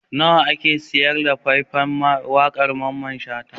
Nawa ake sayar da fai-fan waƙar Mamman Shata?